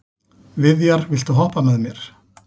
Viðjar, viltu hoppa með mér?